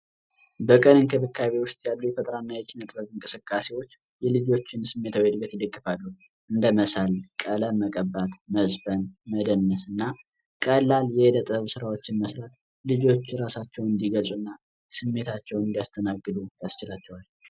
በቀን እንክብካቤ ውስጥ ያሉ የፈጠራና የኪነጥበብ እንቅስቃሴዎች የልጆችን ስሜታዊ እድገት ይደግፋሉ። እንደ መሳል፣ ቀለም መቀባት፣ መዝፈን፣ መደነስና ቀላል የእደ ጥበብ ስራዎችን መስራት ልጆች ራሳቸው እንዲገዙና ስሜታቸው እንዲይስተናግዱ ያላቸዋል።